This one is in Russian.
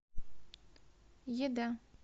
еда